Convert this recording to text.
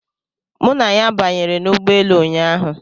Mụ na ya banyere n'ụgbọelu ụnyaahụ.